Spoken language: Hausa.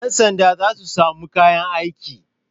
Yansanda za su sami kayan aiki.